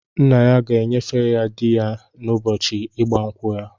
Nna ya ga-enyefe ya di ya n'ụbọchị ịgba nkwụ ya.